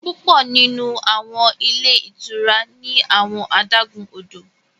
Pupọ nínú àwọn ilé ìtura ní awọn adágún odò